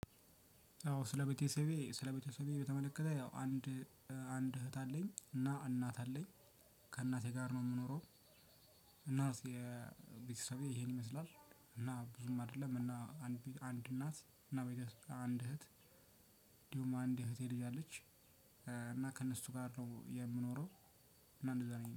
አዎ ስለ ቤተሰቤ ስለ ቤተሰቤ በተመለከተ ያው አንድ አንድ እህት አለኝ እና እናት አለኝ። ከእናቴ ጋር ነው የምኖረው። እና ቤተሰቤ ይሄን ይመስላል። እና ብዙም አይደለም እና አንድ አንድ እናት እና አንድ እህት እንዲሁም አንድ የእህቴ ልጅ አለች። እና ከእነሱ ጋር ነው የምኖረው። እና እንደዛ ነው